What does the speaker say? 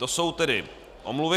To jsou tedy omluvy.